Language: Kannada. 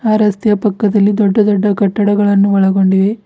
ಆ ರಸ್ತೆಯ ಪಕ್ಕದಲ್ಲಿ ದೊಡ್ಡ ದೊಡ್ಡ ಕಟ್ಟಡಗಳನ್ನು ಒಳಗೊಂಡಿವೆ.